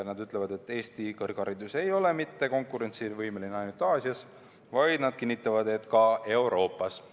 Nad ütlevad, et Eesti kõrgharidus ei ole konkurentsivõimeline ainult Aasias, nad kinnitavad, et ta on seda ka Euroopas.